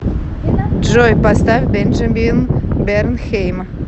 джой поставь бенджамин бернхейм